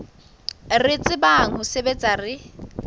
re tsebang ho sebetsa re